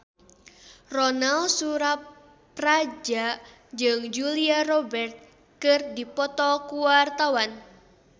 Ronal Surapradja jeung Julia Robert keur dipoto ku wartawan